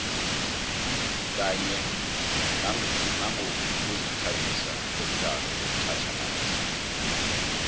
kanye nangokuzithabisa ngomdlalo wetjhatjhalazi